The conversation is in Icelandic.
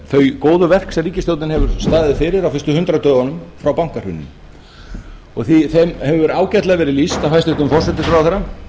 þau góðu verk sem ríkisstjórnin hefur staðið fyrir á þessum hundrað dögum frá bankahruninu og þeim hefur ágætlega verið lýst af hæstvirtum forsætisráðherra